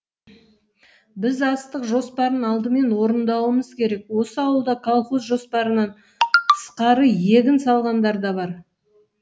біз астық жоспарын алдымен орындауымыз керек осы ауылда колхоз жоспарынан тысқары егін салғандар да бар